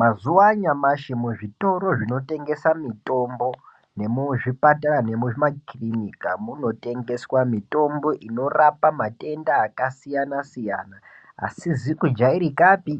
Mazuwa anyamashi muzvitoro zvinotengesa mitombo nemuzvipatara nemuzvimakirinika munotengeswa mitombo inorapa matenda akasiyana siyana asizi kujairikapi